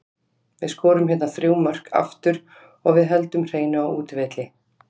Við skorum hérna þrjú mörk aftur og við höldum hreinu á útivelli.